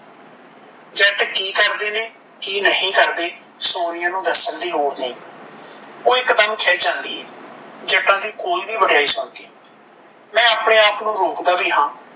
ਜੱਟ ਕੀ ਕਰਦੇ ਨੇ ਕੀ ਨਹੀਂ ਕਰਦੇ ਸੋਨੀਆ ਨੂੰ ਦੱਸਣ ਦੀ ਲੋੜ ਨਹੀਂ ਓਹ ਇੱਕ ਦਮ ਖਿਝ ਜਾਂਦੀ ਐ ਜੱਟਾਂ ਦੀ ਕੋਈ ਵੀ ਵਡਇਆਈ ਸੁਣ ਕੇ ਮੈਂ ਆਪਣੇ ਆਪ ਨੂੰ ਵੀ ਰੋਕਦਾ ਵੀ ਹਾਂ